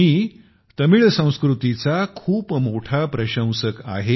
मी तमिळ संस्कृतीचा खूप मोठा प्रशंसक आहे